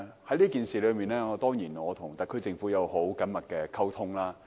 就有關政策，我當然一直與特區政府保持緊密溝通。